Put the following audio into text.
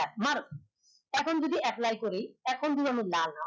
মারো এখন যদি apply করি এখন যদি